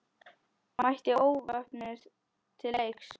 Mætti óvopnuð til leiks.